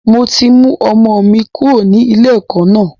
Mo ti mú ọmọ mi kúrò ní ilé ẹ̀kọ́ náà.